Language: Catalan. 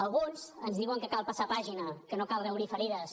alguns ens diuen que cal passar pàgina que no cal reobrir ferides